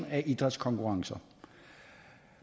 af idrætskonkurrencer